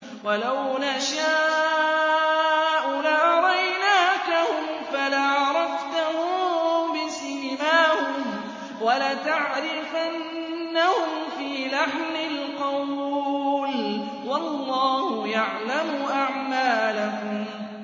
وَلَوْ نَشَاءُ لَأَرَيْنَاكَهُمْ فَلَعَرَفْتَهُم بِسِيمَاهُمْ ۚ وَلَتَعْرِفَنَّهُمْ فِي لَحْنِ الْقَوْلِ ۚ وَاللَّهُ يَعْلَمُ أَعْمَالَكُمْ